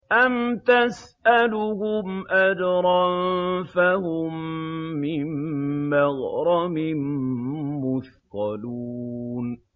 أَمْ تَسْأَلُهُمْ أَجْرًا فَهُم مِّن مَّغْرَمٍ مُّثْقَلُونَ